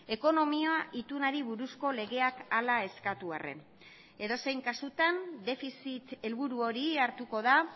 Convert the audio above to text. ekonomia itunari buruzko legeak hala eskatu arren edozein kasutan defizit helburu hori hartuko da